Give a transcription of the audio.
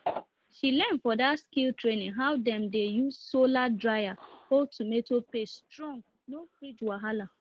she learn for that skills training how dem dey use solar dryer hold tomato paste strong no fridge wahala